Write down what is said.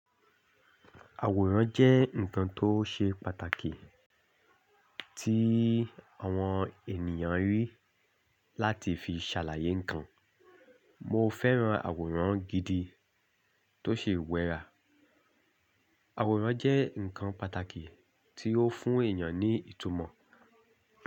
Àwòrán jẹ́ nǹkan tó ṣe pàtàkì tí àwọn ènìyàn rí láti fi ṣàlàyé nǹkan. Mo fẹ́ran àwòrán gidi tó ṣe wẹ́rà. Àwòrán jẹ́ nǹkan pàtàkì tí ó fún èyàn ní ìtumọ̀